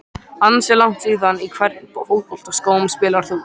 Ansi langt síðan Í hvernig fótboltaskóm spilar þú?